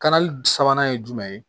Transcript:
Kalali sabanan ye jumɛn ye